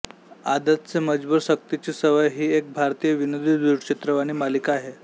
आदत से मजबूर सक्तीची सवय ही एक भारतीय विनोदी दूरचित्रवाणी मालिका आहे